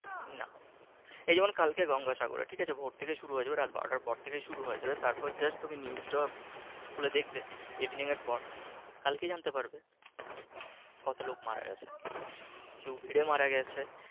না এই যেমন কালকের গঙ্গা সাগরে ঠিক আছে ভোর থেকে শুরু হয়ে যাবে রাত বারোটার পর থেকে শুরু হয়ে যাবে তারপরে just news টা খুলে দেখবে evening এর পর কালকেই জানতে পারবে কত লোক মারা গেছে কেউ ভীড়ে মারা গেছে ।